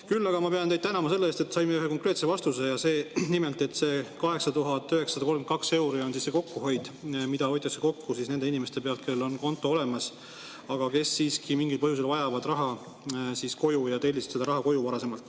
Küll aga pean ma teid tänama selle eest, et saime ühe konkreetse vastuse, nimelt, et 8932 euri on see kokkuhoid, niipalju hoitakse kokku nende inimeste pealt, kellel on konto olemas, aga kes siiski mingil põhjusel vajavad raha koju ja tellisidki varem seda koju.